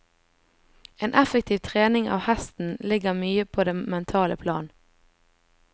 En effektiv trening av hesten ligger mye på det mentale plan.